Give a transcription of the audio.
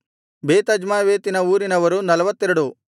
ಬೇತಜ್ಮಾವೇತಿನ ಊರಿನವರು 42